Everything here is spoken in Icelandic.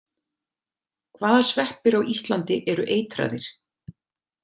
Hvaða sveppir á Íslandi eru eitraðir?